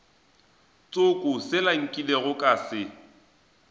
tsoko sela nkilego ka se